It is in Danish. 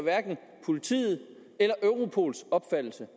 politiets eller europols opfattelse